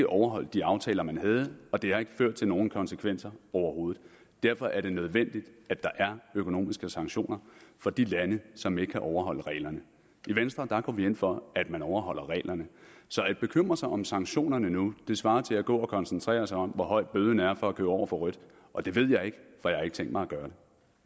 overholdt de aftaler man havde og det har ikke ført til nogen konsekvenser overhovedet derfor er det nødvendigt at der er økonomiske sanktioner for de lande som ikke kan overholde reglerne i venstre går vi ind for at man overholder reglerne så at bekymre sig om sanktionerne nu svarer til at gå og koncentrere sig om hvor høj bøden er for at køre over for rødt og det ved jeg ikke for jeg har ikke tænkt mig at gøre